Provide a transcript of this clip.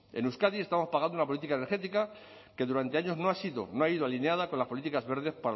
en euskadi estamos pagando una política energética que durante años no ha sido no ha ido alineada con las políticas verdes